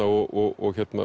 og